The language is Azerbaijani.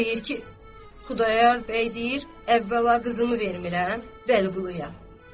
Deyir ki, Xudayar bəy deyir, əvvəla qızını vermirəm Vəliquluya.